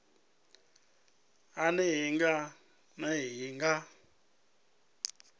a nnḓa nga nnḓa ha